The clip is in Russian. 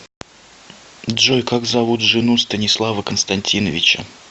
джой как зовут жену станислава константиновича